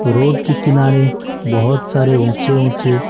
road के किनारे बहुत सारे ऊंचे-ऊंचे--